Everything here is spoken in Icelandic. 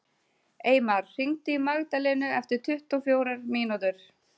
Eymar, hringdu í Magdalenu eftir tuttugu og fjórar mínútur.